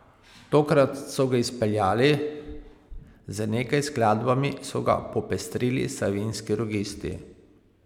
Tokrat so ga izpeljali, z nekaj skladbami so ga popestrili Savinjski rogisti.